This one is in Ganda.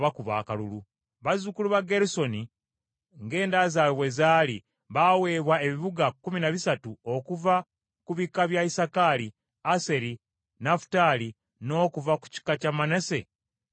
Bazzukulu ba Gerusoni, ng’enda zaabwe bwe zaali, baaweebwa ebibuga kkumi na bisatu okuva ku bika bya Isakaali, Aseri, Nafutaali, n’okuva ku kika kya Manase mu Basani.